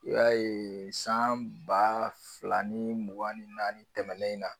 I b'a ye san ba fila ni mugan ni naani tɛmɛnen na